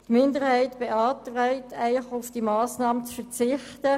Die FiKo-Minderheit beantragt Ihnen, auf diese Massnahme zu verzichten.